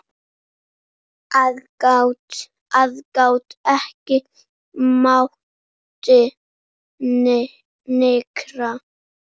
Aðgát, aðgát, ekki mátti nykra.